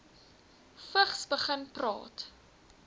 vigs begin praat